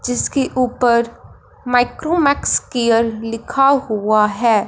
जिसके ऊपर Micromax care लिखा हुआ है।